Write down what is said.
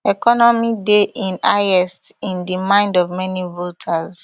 economy dey im highest in di mind of many voters